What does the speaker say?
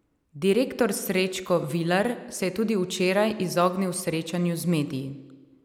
Direktor Srečko Vilar se je tudi včeraj izognil srečanju z mediji.